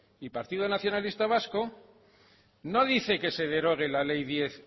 y partido nacionalista vasco no dice que se derogue la ley diez